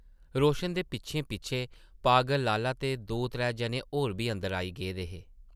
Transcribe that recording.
रोशन दे पिच्छें-पिच्छें पागल लाला ते दो-त्रै जने होर बी अंदर आई गेदे हे ।